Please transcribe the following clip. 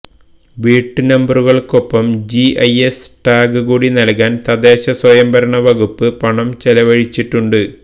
വീട്ടുനമ്പറുകൾക്കൊപ്പം GIS tag കൂടി നൽകാൻ തദ്ദേശസ്വയംഭരണ വകുപ്പ് പണം ചെലവഴിച്ചിട്ടുണ്ട്